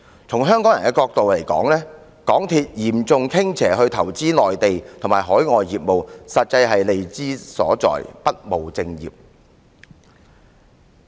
從香港人的角度來看，港鐵公司嚴重傾斜去投資內地和海外業務，實在是利之所至，不務正業。